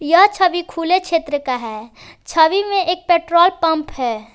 यह छवि खुले क्षेत्र का है छवि में एक पेट्रोल पंप है।